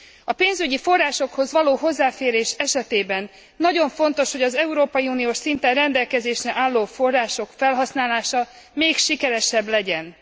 A pénzügyi forrásokhoz való hozzáférés esetében nagyon fontos, hogy az európai uniós szinten rendelkezésre álló források felhasználása még sikeresebb legyen.